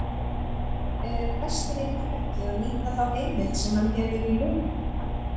Er Hæstiréttur ekki að nýta þá heimild sem hann hefur í lögum?